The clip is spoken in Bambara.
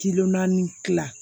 naani dilan